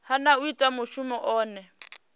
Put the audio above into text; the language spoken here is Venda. hana u ita mushumo une